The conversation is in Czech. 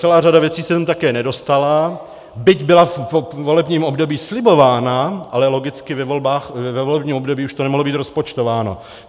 Celá řada věcí se sem také nedostala, byť byla ve volebním období slibována, ale logicky ve volebním období už to nemohlo být rozpočtováno.